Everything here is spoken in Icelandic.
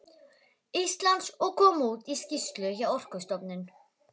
Íslands og kom út í skýrslu hjá Orkustofnun.